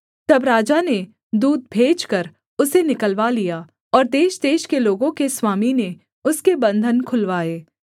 तब राजा ने दूत भेजकर उसे निकलवा लिया और देशदेश के लोगों के स्वामी ने उसके बन्धन खुलवाए